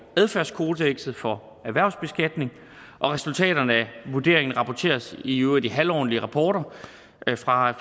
adfærdskodekset for erhvervsbeskatning og resultaterne af vurderingen rapporteres i øvrigt i halvårlige rapporter fra